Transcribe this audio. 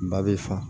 Ba bɛ fa